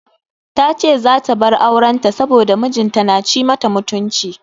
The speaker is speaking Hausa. Tace zaa ta bar auren ta saboda mijin ta na ci mata mutunci.